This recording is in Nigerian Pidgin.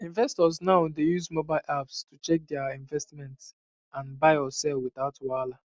investors now dey use mobile apps to check their investment and buy or sell without wahala